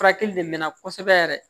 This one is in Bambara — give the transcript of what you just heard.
Furakɛli de mɛna kosɛbɛ yɛrɛ